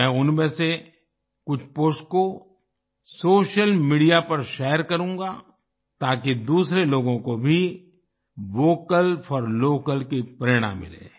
मैं उनमें से कुछ पोस्ट को सोशल मीडिया पर शेयर करूँगा ताकि दूसरे लोगों को भी वोकल फॉर लोकल की प्रेरणा मिले